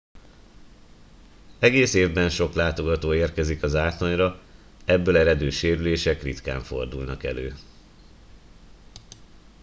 egész évben sok látogató érkezik a zátonyra ebből eredő sérülések ritkán fordulnak elő